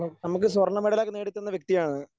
നമുക്ക് സ്വർണ്ണമെഡൽ ഒക്കെ നേടിത്തന്ന വ്യക്തിയാണ്.